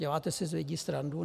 Děláte si z lidí srandu?